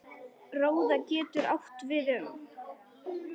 Róða getur átt við um